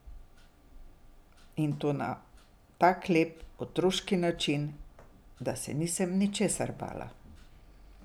In to na tak lep, otroški način, da se nisem ničesar bala.